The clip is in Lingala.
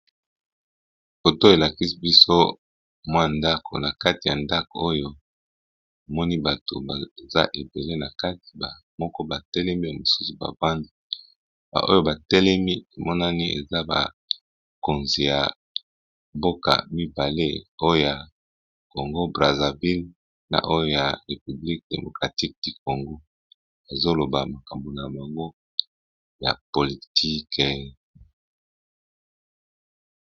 Foto oyo elakisi, biso mwa ndako na kati ya ndako oyo! namoni bato baza ebele na kati moko batelemi ya mosusu bavandi ba oyo batelemi emonani eza bakonzi ya mboka mibale , oyo ya congo Brazzaville na oyo ya république démocratique du congo, azoloba makambo na bango ya politike !.